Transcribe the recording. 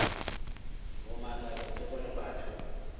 go mmakatša ke gore batho